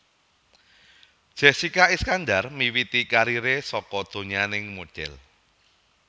Jessika Iskandar miwiti kariré saka donyaning modhél